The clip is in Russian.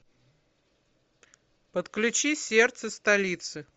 подключи сердце столицы